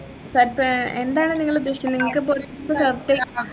surpri എന്താണ് നിങ്ങളുദ്ദേശിക്കുന്നെ നിങ്ങൾക്കിപ്പോ ഒരു